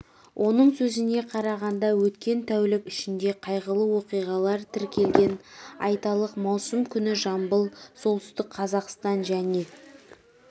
оның сөзіне қарағанда өткен тәулік ішінде қайғылы оқиға тіркелген айталық маусым күні жамбыл солтүстік қазақстан және